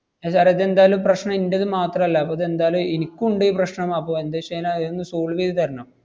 ആഹ് sir ഏ ഇതെന്തായാലും പ്രശ്‌നം ഇന്‍റേത് മാത്രല്ല. അപ്പ ഇതെന്തായാലും ഇനിക്കും ഉണ്ട് ഈ പ്രശ്‌നം. അപ്പോ എന്തുവെച്ചെന്നാ ഇതൊന്ന് solve ചെയ്ത് തരണം.